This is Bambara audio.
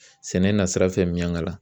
Sɛnɛ na sira fɛ Miɲankala